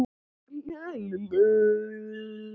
Íslandi allt!